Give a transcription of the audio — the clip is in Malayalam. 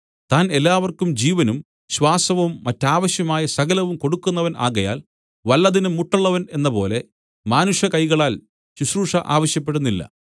താൻ എല്ലാവർക്കും ജീവനും ശ്വാസവും മറ്റാവശ്യമായ സകലവും കൊടുക്കുന്നവൻ ആകയാൽ വല്ലതിനും മുട്ടുള്ളവൻ എന്നപോലെ മാനുഷകൈകളാൽ ശുശ്രൂഷ ആവശ്യപ്പെടുന്നില്ല